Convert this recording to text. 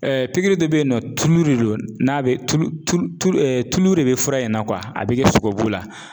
de bɛ ye nɔ tulu de don n'a bɛ tulu tulu tulu de bɛ fura in na a bɛ kɛ sogobu la.